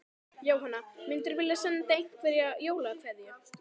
Jóhanna: Myndirðu vilja senda einhverja jólakveðju?